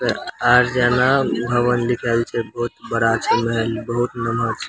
अउर जहवाँ उहवाँ लिखल छए बहुत बड़ा छए महल बहुत लमहर छै।